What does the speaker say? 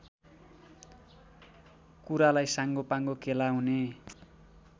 कुरालाई साङ्गोपाङ्गो केलाउने